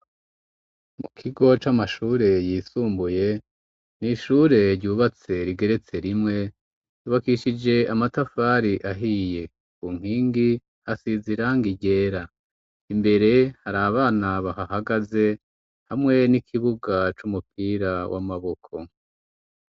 Mu kigo c'amashure yisumbuye n'ishure ryubatse rigeretse rimwe rubakishije amatafari ahiye ku nkingi hasize irangi ryera imbere hari abana bahahagaze hamwe n'ikibuga c'umupira w'amaboko.